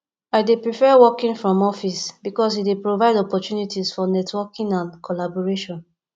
i dey prefer working from office because e dey provide opportunities for networking and collaboration